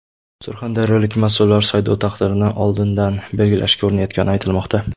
Surxondaryolik mas’ullar saylov taqdirini oldindan belgilashga urinayotgani aytilmoqda.